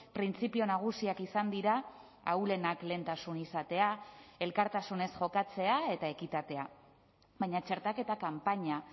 printzipio nagusiak izan dira ahulenak lehentasun izatea elkartasunez jokatzea eta ekitatea baina txertaketa kanpaina